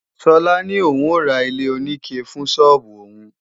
Sola ní òun ó ra ilé-oníke fún sọ́ọ́bù òun